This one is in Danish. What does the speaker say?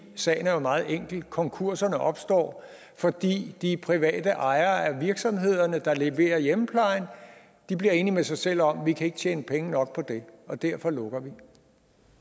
sagen er jo meget enkel konkurserne opstår fordi de private ejere af virksomhederne der leverer hjemmeplejen bliver enige med sig selv om at de ikke kan tjene penge nok på det og derfor lukker de